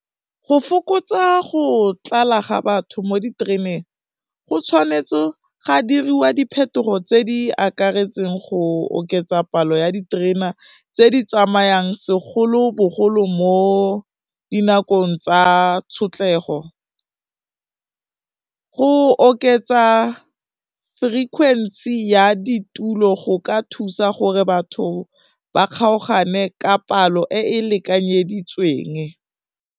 Go fokotsa go tlala ga batho mo ditereneng go tshwanetse ga diriwa diphetogo tse di akaretseng go oketsa palo ya diterena tse di tsamayang segolobogolo mo dinakong tsa tshotlhego, go oketsa frequency ya ditulo go ka thusa gore batho ba kgaogane ka palo e e lekanyeditsweng.